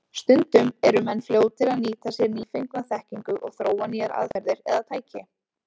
Stundum eru menn fljótir að nýta sér nýfengna þekkingu og þróa nýjar aðferðir eða tæki.